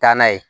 Taa n'a ye